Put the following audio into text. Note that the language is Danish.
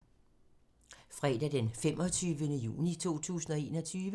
Fredag d. 25. juni 2021